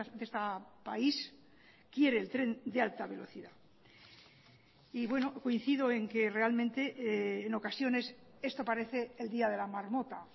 de este país quiere el tren de alta velocidad y bueno coincido en que realmente en ocasiones esto parece el día de la marmota